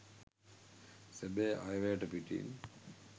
සැබෑ අයවැයට පිටින්